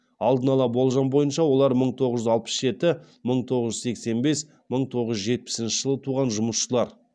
алдын ала болжам бойынша олар мың тоғыз жүз алпыс жеті мың тоғыз жүз сексен бес мың тоғыз жүз жетпісінші жылы туған жұмысшылар